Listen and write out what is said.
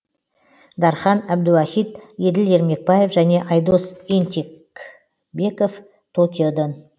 дархан әбдуахит еділ ермекбаев және айдос ентебеков токиодан